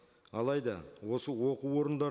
алайда осы оқу орындар